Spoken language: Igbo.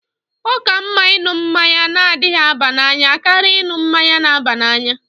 Ọ ka mma ịṅụ mmanya na-adịghi aba n'anya karịa ịṅụ mmanya na-aba n'anya.